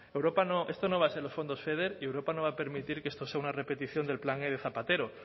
europa no esto no van a ser los fondos feder y europa no va a permitir que esto sea una repetición del plan e de zapatero